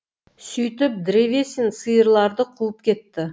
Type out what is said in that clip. сөйтіп древесин сиырларды қуып кетті